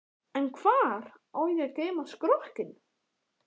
En hvar á ég að geyma skrokkinn.